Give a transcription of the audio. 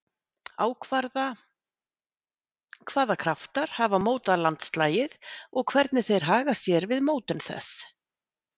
Ákvarða hvaða kraftar hafa mótað landslagið og hvernig þeir haga sér við mótun þess.